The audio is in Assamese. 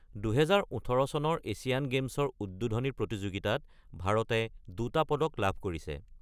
২০১৮ চনৰ এছিয়ান গেমছৰ উদ্বোধনী প্ৰতিযোগিতাত ভাৰতে ২টা পদক লাভ কৰিছে।